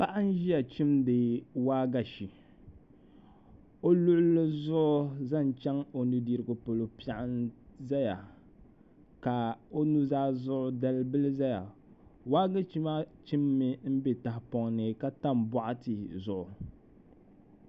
Paɣa n ʒiya chimdi waagashe o luɣuli zuɣu zaŋ chɛŋ o nudirigu polo piɛɣu nyɛla din ʒɛya ka o nuzaa zuɣu dalbili ʒɛya waagashe maa chimmi n bɛ tahapoŋ ni ka tam boɣati zuɣu